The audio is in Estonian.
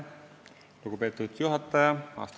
Lugupeetud juhataja!